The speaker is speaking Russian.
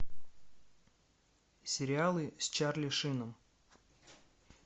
сериалы с чарли шином